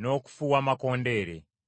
n’okufuuwa amakondeere.